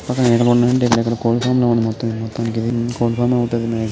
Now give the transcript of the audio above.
ఇక్కడ కోళ్ళ పారం లా ఉంది మొత్తం మొత్తానికిది. ]